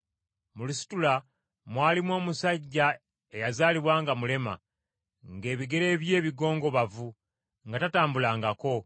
Mu Lusitula mwalimu omusajja eyazaalibwa nga mulema, ng’ebigere bye bigongobavu, nga tatambulangako.